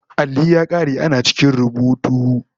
Alli ya kare ana cikin rubutu